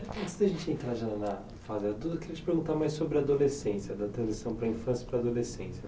Antes da gente entrar já na tudo, eu queria te perguntar mais sobre a adolescência, da transição para a infância para a adolescência.